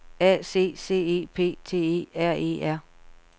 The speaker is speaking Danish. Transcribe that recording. A C C E P T E R E R